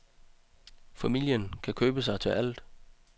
Familien kan købe sig til alt.